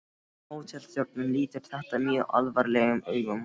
Hótelstjórinn lítur þetta mjög alvarlegum augum.